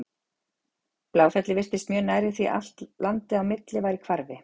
Bláfellið virtist mjög nærri því allt landið á milli var í hvarfi.